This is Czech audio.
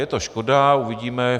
Je to škoda, uvidíme.